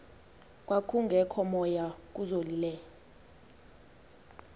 kwakungekho moya kuzolile